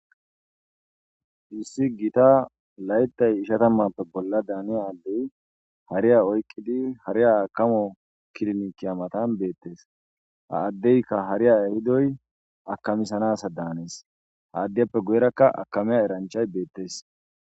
Duusi giita layttay ishatammappe bolla daaniya addey hariya oyqqidi hari a akamo kirinikiya matan beettes ha addeykka hariya ahidoy akamisanasa daanees ha addiyappe guyerakka akamiya eranchay beettes.